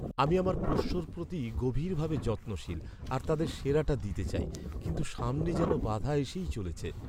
আমি আমার পোষ্যর প্রতি গভীরভাবে যত্নশীল আর তাদের সেরাটা দিতে চাই, কিন্তু সামনে যেন বাধা এসেই চলেছে।